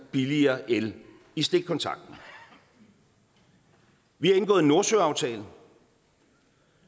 billigere el i stikkontakten vi har indgået en nordsøaftale